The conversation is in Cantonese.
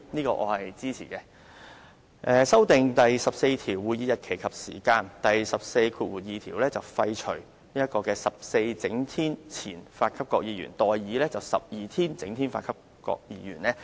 他亦建議修訂第14條，在第142條廢除 "14 整天前發給各議員"而代以 "12 整天前發給各議員"。